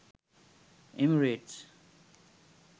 emirates